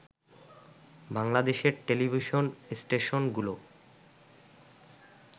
বাংলাদেশের টেলিভিশন স্টেশনগুলো